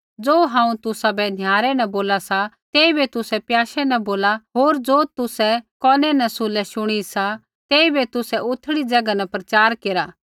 ज़ो हांऊँ तुसाबै निहारै न बोला सा तेइबै तुसै प्याशै न बोला होर ज़ो तुसै कोनै न सुल्हे शुणी सा तेइबै तुसै उथड़ी ज़ैगा न प्रचार केरा